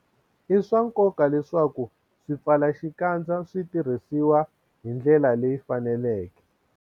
I swa nkoka leswaku swipfalaxikandza swi tirhisiwa hi ndlela leyi faneleke.